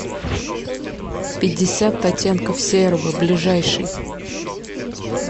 пятьдесят оттенков серого ближайший